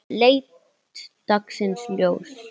leit dagsins ljós.